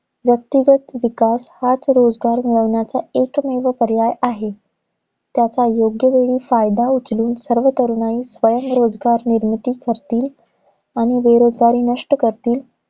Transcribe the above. व्यक्तिगत विकास हाच रोजगार मिळवण्याचा एकमेव पर्याय आहे. त्याचा योग वेळी फायदा उचलून सर्व तरुणाई, स्वयं रोजगार निर्मिती करतील, आणि बेरोजगारी नष्ट करतील